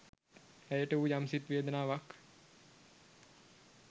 ඇයට වූ යම් සිත් වේදනාවක්